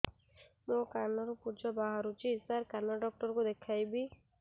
ମୋ କାନରୁ ପୁଜ ବାହାରୁଛି ସାର କାନ ଡକ୍ଟର କୁ ଦେଖାଇବି